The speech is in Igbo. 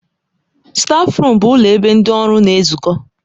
Stáfruum bụ ụlọ ebe ndị ọrụ na-ezukọ.